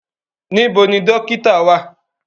Níbọ̀ ni dòkìtà wa?